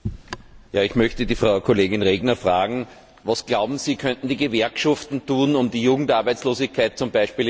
Herr Präsident! Ich möchte die Frau Kollegin Regner fragen Was, glauben Sie, könnten die Gewerkschaften tun, um die Jugendarbeitslosigkeit z.